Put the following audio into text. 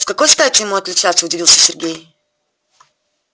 с какой стати ему отличаться удивился сергей